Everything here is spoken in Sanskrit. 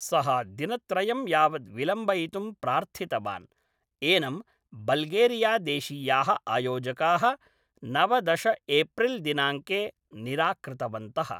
सः दिनत्रयं यावत् विलम्बयितुं प्रार्थितवान्, एनं बल्गेरियादेशीयाः आयोजकाः नवदश एप्रिल् दिनाङ्के निराकृतवन्तः।